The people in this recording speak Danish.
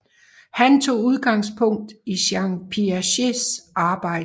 Han tog udgangspunkt i Jean Piagets arbejde